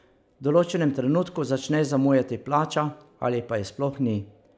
V določenem trenutku začne zamujati plača, ali pa je sploh ni.